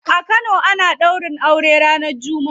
A kano ana daurin aure ranar jumma'a.